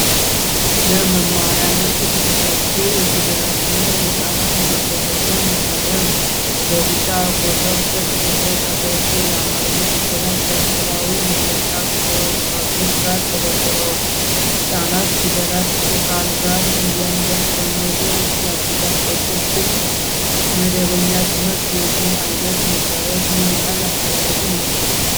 ለመማሪያነት የተዘጋጀ የፊደላትና የቃላት ማዛመጃ መሳሪያ ነው። በቢጫ ኮከብ ቅርጽ የተቀረጹ የአማርኛ ፊደላት ከስዕላዊ መግለጫ ካርዶች ጋር ተደርድረዋል። ህጻናት ፊደልን ከቃል ጋር እንዲያስተምሩ ያግዛል። በቅድመ መደበኛ ትምህርት የዚህ ዓይነት መሳሪያዎች ምን ያህል አስፈላጊ ናቸው?